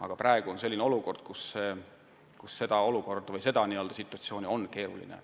Aga praegu on selline olukord, kus töid planeerida on keerulisem.